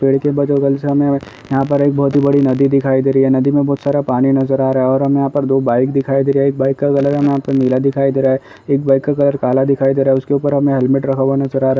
पेड़ के हमें यहां पर एक बहुत बड़ी नदी दिखाई दे रही नदी में बहुत सारा पानी नजर आ रहा है और हमें दो बाइक दिखाई दे रही है एक बाइक का कलर हमे नीला दिखाई दे रहा है एक बाइक का कलर काला दिखाई दे रहा है उसके ऊपर हमें हेलमेट रखा हुआ नज़र आ रहा है।